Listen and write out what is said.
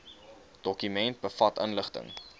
dokument bevat inligting